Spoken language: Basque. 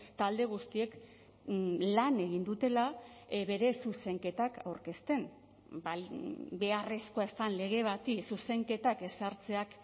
talde guztiek lan egin dutela bere zuzenketak aurkezten beharrezkoa ez den lege bati zuzenketak ezartzeak